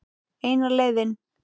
Eina leiðin.